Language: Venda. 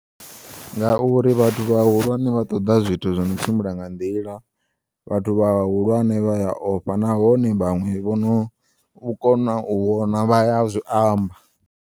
Ngauri vhathu vhahulwane vha ṱoḓa zwithu zwono tshimbila nga nḓila vhathu vhahulwane vhaya ofha nahone vhaṅwe vhono kona u vhona vhaya zwiamba.